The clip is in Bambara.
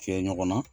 Kɛ ɲɔgɔn na